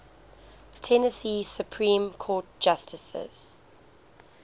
tennessee supreme court justices